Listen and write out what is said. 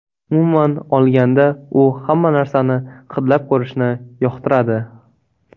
Umuman olganda, u hamma narsani hidlab ko‘rishni yoqtiradi.